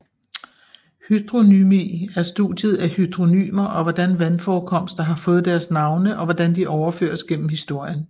Hydronymy er studiet af hydronymer og hvordan vandforekomster har fået deres navne og hvordan de overføres gennem historien